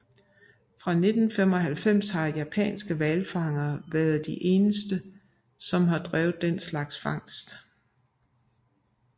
Fra 1995 har japanske hvalfangere været de eneste som har drevet den slags fangst